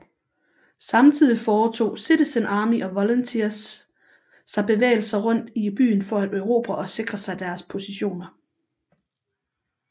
Samtidig foretog Citizen Army og Volunteers sig bevægelser rundt i byen for at erobre og sikre sig deres positioner